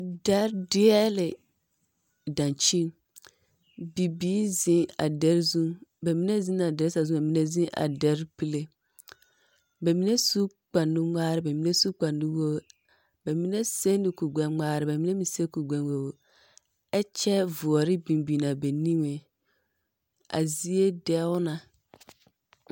Dɛre deɛle dankyin. Bibiir zeŋ a dɛr zu. Ba mine zena a dɛr sazu ba mine zeŋ a dɛr pile. Ba mine su kpar nu ŋmaarɛ ba mine su kpar nu woor. bɛmene sɛ ne kurgbɛŋmaara ba mine meŋ sɛ kurgbɛ woor. A zie. A zie dɛo na.